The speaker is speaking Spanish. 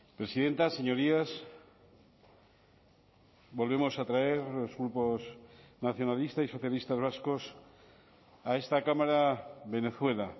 presidenta señorías volvemos a traer los grupos nacionalista y socialistas vascos a esta cámara venezuela